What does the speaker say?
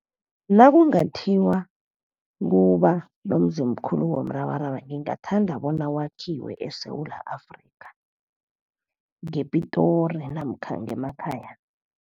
Nakungathiwa kuba nomzimkhulu womrabaraba ngingathanda bona wakhiwe eSewula Afrika ngePitori namkha ngemakhaya.